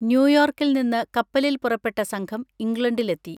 ന്യൂയോർക്കിൽ നിന്ന് കപ്പലിൽ പുറപ്പെട്ട സംഘം ഇംഗ്ലണ്ടിലെത്തി.